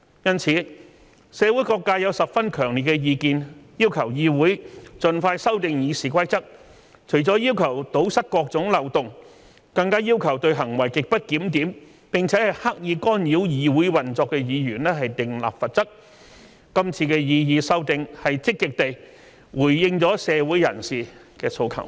因此，社會各界有十分強烈的意見，要求議會盡快修訂《議事規則》，除了要求堵塞各種漏洞，更要求對行為極不檢點並刻意干擾議會運作的議員訂立罰則，這次的擬議修訂積極地回應了社會人士的訴求。